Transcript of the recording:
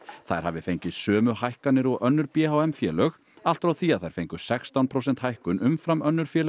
þær hafi fengið sömu hækkanir og önnur b h m félög allt frá því að þær fengu sextán prósent hækkun umfram önnur félög